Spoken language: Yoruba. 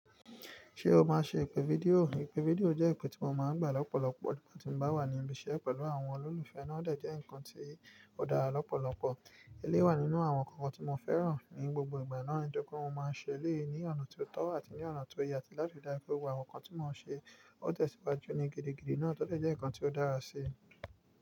Ṣé o máa ń ṣe ìpè fídíò? Ìpè fídíò jẹ́ ìpè tí mo máa ń gbà lọ́pọ̀lọpọ̀ nígbàtí mo bá wà ní ibi iṣẹ́ pẹ̀lú àwọn olólùfẹ́ náà dẹ̀ jẹ́ ǹkan tí ó dára lọ́pọ̀lọpọ̀. Eléyi wà nínú àwọn nkankan tí mo fẹ́ràn ní gbogbo ìgbà náà, Nitoripe mo máa ń ṣe eléyi ní ọ̀nà tió tọ́ àti ní ọ̀nà tó yẹ àti láti ri daju pe àwọn nkankan tí mo ń ṣe ó tẹ̀síwájú ní gidigidi náà tọ́ de jẹ́ ǹkan tí ó dára síi.